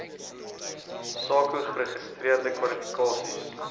sako geregistreerde kwalifikasies